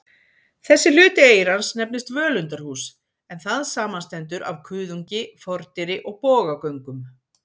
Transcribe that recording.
Þessi hluti eyrans nefnist völundarhús, en það samanstendur af kuðungi, fordyri og bogagöngum.